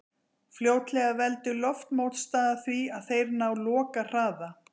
fljótlega veldur loftmótstaða því að þeir ná lokahraða